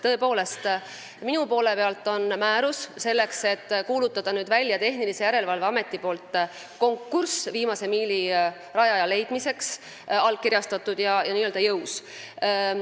Tõepoolest, mina olen selleks, et kuulutada välja Tehnilise Järelevalve Ameti konkurss viimase miili rajaja leidmiseks, määruse allkirjastanud, see on n-ö jõus.